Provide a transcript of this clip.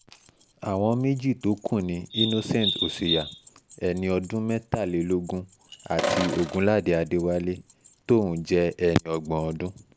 àwọn méjì tó kù ni innocent ọ̀ṣùyà ẹni ọdún mẹ́tàlélógún àti ògúnládé adéwálé tóun jẹ́ ẹni ọgbọ̀n ọdún